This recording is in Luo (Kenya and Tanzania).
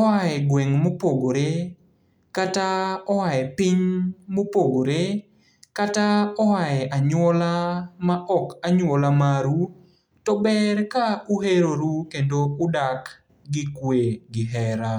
oae gweng' mopogore, kata oae piny mopogore, kata oae anyuola ma ok anyuola maru, to ber ka uheroru kendo udak gi kwe gi hera.